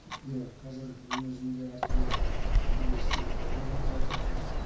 иә қазір дүниежүзінде әртүрлі үдерістер пайда болып жатыр